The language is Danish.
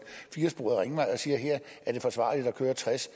firesporet ringvej og siger at her er det forsvarligt at køre tres